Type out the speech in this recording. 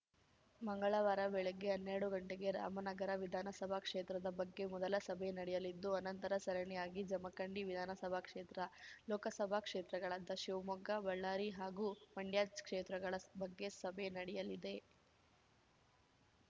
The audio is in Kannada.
ಮಂಗಳವಾರ ಬೆಳಗ್ಗೆ ಹನ್ನೆರಡು ಗಂಟೆಗೆ ರಾಮನಗರ ವಿಧಾನಸಭಾ ಕ್ಷೇತ್ರದ ಬಗ್ಗೆ ಮೊದಲ ಸಭೆ ನಡೆಯಲಿದ್ದು ಅನಂತರ ಸರಣಿಯಾಗಿ ಜಮಖಂಡಿ ವಿಧಾನಸಭಾ ಕ್ಷೇತ್ರ ಲೋಕಸಭಾ ಕ್ಷೇತ್ರಗಳಾದ ಶಿವಮೊಗ್ಗ ಬಳ್ಳಾರಿ ಹಾಗೂ ಮಂಡ್ಯ ಕ್ಷೇತ್ರಗಳ ಬಗ್ಗೆ ಸಭೆ ನಡೆಯಲಿದೆ